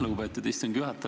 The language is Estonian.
Lugupeetud istungi juhataja!